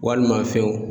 Walima fɛnw